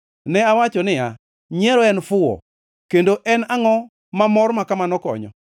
Ne awacho niya, “Nyiero en fuwo kendo en angʼo ma mor makamano konyo?”